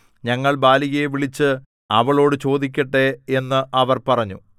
ഞങ്ങൾ ബാലികയെ വിളിച്ചു അവളോടു ചോദിക്കട്ടെ എന്ന് അവർ പറഞ്ഞു